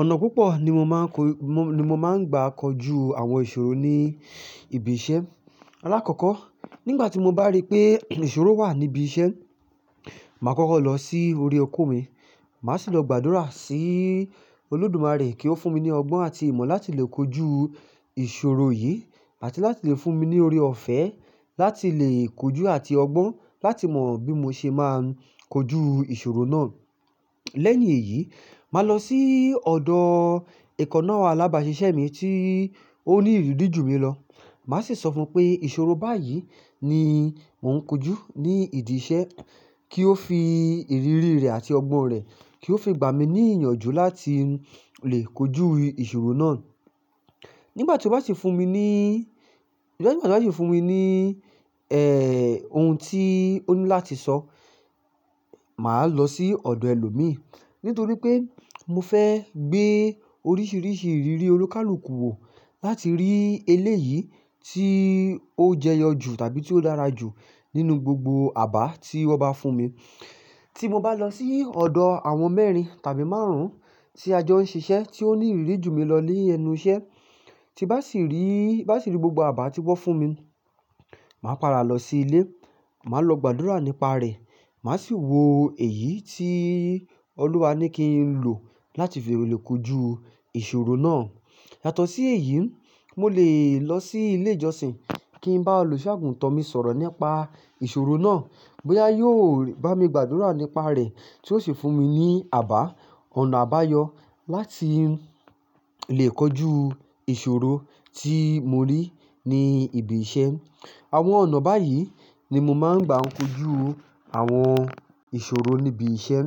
Ọ̀nà púpọ̀ ni mo máa ń ko, mo, mo máa ń gbà kojú àwọn ìṣòro ní ibi iṣẹ́. Alákọ̀ọ́kọ́ nígbà tí mo bá rí pé ìṣòro wà níbi iṣẹ́, màá kọ́kọ́ lọ sí orí oko mi, màá sì lọ gbàdúrà sí Olódùmarè kí ó fún mi ní ọgbọ́n àti ìmọ̀ láti lè kojú ìṣòro yìí àti láti lè fún mi ní oore-ọ̀fẹ́ láti lè kojú àti ọgbọ́n láti mọ bí mo ṣe máa ń kojú ìṣòro náà. Lẹ́yìn èyí, màá lọ sí ọ̀dọ̀ èkọ̀ná àlábaṣiṣẹ́ mi tí ó ní ìrírí ju mi lọ. Màá sì sọ fún un pé ìṣòro báyìí ni mò ń kojú ní ìdí iṣẹ́ kí ó fi ìrírí rẹ̀ àti ọgbọ́n rẹ̀, kí ó fi gbà mí ní ìyànjú láti lè kojú ìṣòro náà. Nígbà tí ó bá sì fún mi ní, nígbà tí o bá sì fún mi ní, ohun tí ó ní láti sọ, màá lọ sí ọ̀dọ̀ ẹlòmíí nítorí pé mo fẹ́ gbé oríṣiríṣi ìrírí olukàlùkù wò láti rí eléyìí tí ó jẹyọ jù tàbí tí ó dára jù nínú gbogbo àbá tí wọ́n bá fún mi. Tí mo bá lọ sí ọ̀dọ̀ àwọn mẹ́rin tàbí márùn-ún tí ajọ ń ṣiṣẹ́ tí ó ní ìrírí ju mi lọ léẹnu iṣẹ́, tí bá sì rí, bá sì rí gbogbo àbá tí wọ́n fún mi, màá padà lọ sí ilé, màá lọ gbàdúrà nípa rẹ̀, màá sì wo èyí tí Olúwa ní kí n lò láti fi lè kojú ìṣòro náà. Yàtọ̀ sí èyí, mo lè lọ sí ilé ìjọsìn kí n bá olùṣọ́àgùntàn mi sọ̀rọ̀ nípa ìṣòro náà bóyá yóò bá mi gbàdúrà nípa rẹ̀ tí ó sì fún mi ní àbá, ọ̀nà àbáyọ láti lè kojú ìṣòro tí mo rí ní ibi iṣẹ́. Àwọn ọ̀nà báyìí ni mo máa ń gbà kojú àwọn ìṣòro níbi iṣẹ́.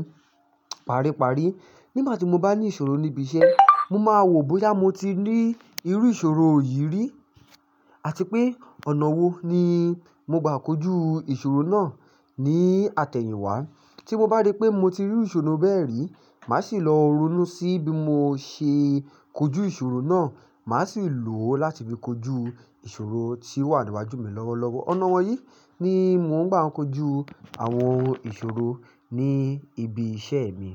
Paríparí, nígbà tí mo bá ní ìṣòro níbi iṣẹ́, mo máa wò bóyá mo ti rí irú ìṣòro yìí rí àti pé ọ̀nà wo ni mo gbà kojú ìṣòro náà ní àtẹ̀yìnwá. Tí mo bá rí pé mo ti rí ìṣòro bẹ́ẹ̀ rí, màá sì lọ ronú sí bí mo ṣe kojú ìṣòro náà, màá sì lò ó láti fi kojú ìṣòro tí ó wà níwájú mi lọ́wọ́lọ́wọ́. Ọ̀nà wọ̀nyí ni mò ń gbà kojú àwọn ìṣòro ní ibi iṣẹ́ mi.